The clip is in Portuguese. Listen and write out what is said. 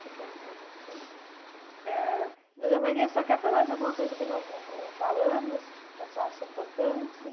Ãh dona Maria, senhora quer falar de alguma coisa que nós não não falamos, que a senhora acha importante?